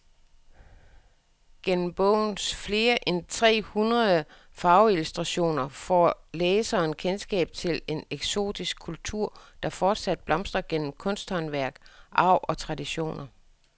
Gennem bogens flere end tre hundrede farveillustrationer får læseren kendskab til en eksotisk kultur, der fortsat blomstrer gennem kunsthåndværk, arv og traditioner.